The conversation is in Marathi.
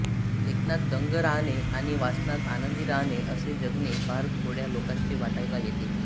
लेखनात दंग राहणे आणि वाचनात आनंदी राहणे असे जगणे फार थोडय़ा लोकांच्या वाटय़ाला येते